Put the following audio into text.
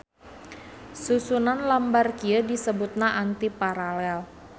Susunan lambar kieu disebutna antiparalel.